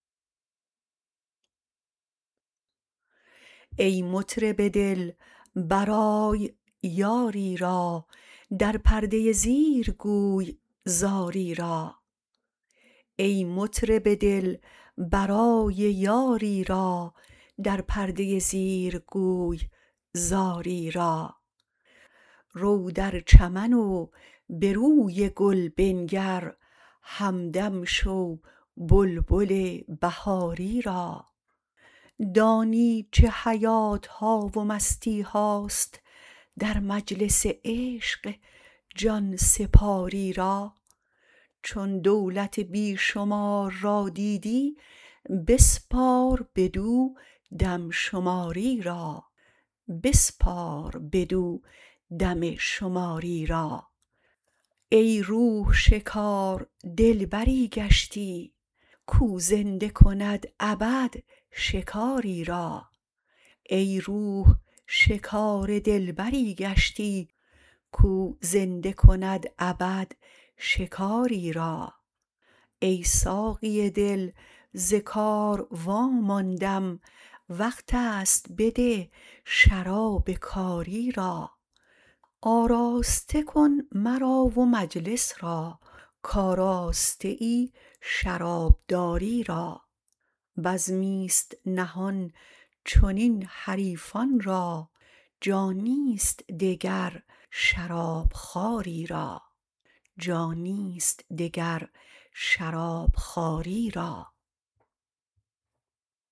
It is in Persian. ای مطرب دل برای یاری را در پرده زیر گوی زاری را رو در چمن و به روی گل بنگر همدم شو بلبل بهاری را دانی چه حیات ها و مستی هاست در مجلس عشق جان سپاری را چون دولت بی شمار را دیدی بسپار بدو دم شماری را ای روح شکار دلبری گشتی کاو زنده کند ابد شکاری را ای ساقی دل ز کار واماندم وقت است بده شراب کاری را آراسته کن مرا و مجلس را کآراسته ای شرابداری را بزمی ست نهان چنین حریفان را جانی ست دگر شراب خواری را